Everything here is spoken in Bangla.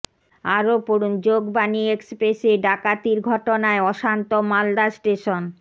আরও পড়ুন যোগবাণী এক্সপ্রেসে ডাকাতির ঘটনায় অশান্ত মালদা স্টেশন